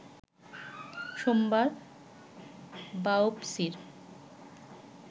সোমবার বায়োপসি’র